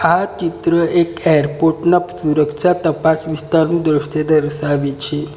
આ ચિત્ર એક એરપોર્ટ ના સુરક્ષા તપાસ વિસ્તારનુ દ્રશ્ય દર્શાવે છે.